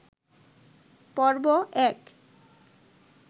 পর্ব এক